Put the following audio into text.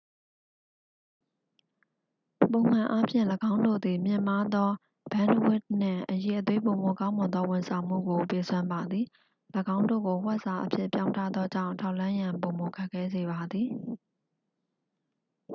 ပုံမှန်အားဖြင့် ၎င်းတို့သည် မြင့်မားသော ဘန်းဒ်ဝဒ်နှင့် အရည်အသွေးပိုမိုကောင်းမွန်သောဝန်ဆောင်မှုကို ပေးစွမ်းပါသည် ၎င်းတို့ကို ဝှက်စာအဖြစ်ပြောင်းထားသောကြောင့် ထောက်လှမ်းရန် ပိုမိုခက်ခဲစေပါသည်